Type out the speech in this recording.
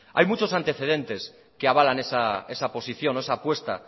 hay muchos antecedentes que avalan esa posición o esa apuesta